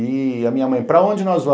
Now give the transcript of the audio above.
E a minha mãe, para onde nós vamos?